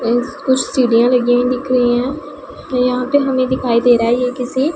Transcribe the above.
इस कुछ सीढ़ियां लगी हुई दिख रही है यहां पे हमें दिखाई दे रहा है ये किसी--